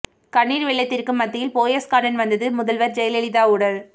கண்ணீர் வெள்ளத்திற்கு மத்தியில் போயஸ் கார்டன் வந்தது முதல்வர் ஜெயலலிதா உடல்